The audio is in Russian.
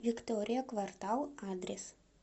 виктория квартал адрес